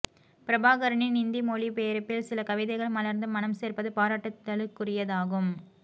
பிரபாகரனின் இந்தி மொழிபெயர்ப்பில் சில கவிதைகள் மலர்ந்து மணம் சேர்ப்பது பாராட்டுதலுக்குரியதாகும்